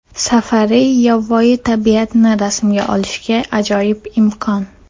Safari yovvoyi tabiatni rasmga olishga ajoyib imkon.